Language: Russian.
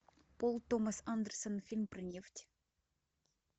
пол томас андерсон фильм про нефть